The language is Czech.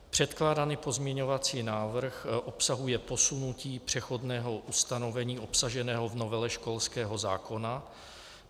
Předkládaný pozměňovací návrh obsahuje posunutí přechodného ustanovení obsaženého v novele školského zákona.